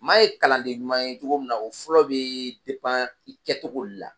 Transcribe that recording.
Maa ye kalan de ɲuman ye cogo min na o fɔlɔ bɛ de pan i kɛ togo de la.